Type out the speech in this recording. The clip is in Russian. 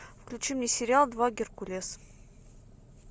включи мне сериал два геркулес